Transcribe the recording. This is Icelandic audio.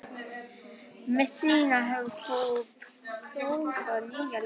Messíana, hefur þú prófað nýja leikinn?